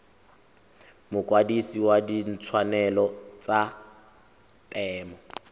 mokwadise wa ditshwanelo tsa temo